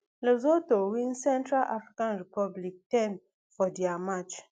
lesotho win central african republic ten for dia match